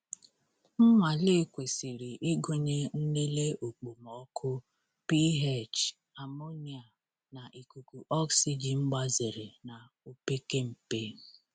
Nnwale kwesịrị ịgụnye nlele okpomọkụ, pH, amonia, na ikuku oxygen gbazere na opekempe.